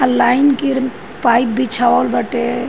आ लाइन के र पाइप बिछावल बाटे।